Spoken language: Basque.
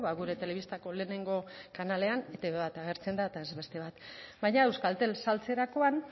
gure telebistako lehenengo kanaletan etb bat agertzen da eta ez beste bat baina euskaltel saltzerakoan